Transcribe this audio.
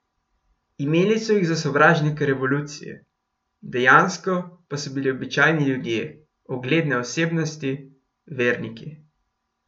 Imeli so jih za sovražnike revolucije, dejansko pa so bili običajni ljudje, ugledne osebnosti, verniki.